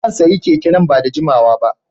Zan sayi keke nan ba da jimawa ba.